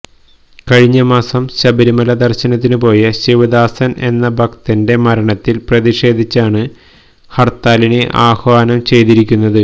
കഴിഞ്ഞ മാസം ശബരിമല ദർശനത്തിന് പോയ ശിവദാസൻ എന്ന ഭക്തന്റെ മരണത്തിൽ പ്രതിഷേധിച്ചാണ് ഹർത്താലിന് ആഹ്വാനം ചെയ്തിരിക്കുന്നത്